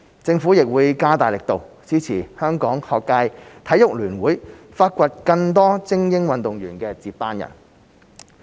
政府亦會加大力度支持香港學界體育聯會發掘更多精英運動員的接班人。